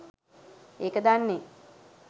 ඒක දන්නේ